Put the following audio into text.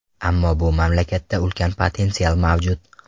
Ammo bu mamlakatda ulkan potensial mavjud.